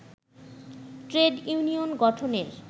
trade union গঠনের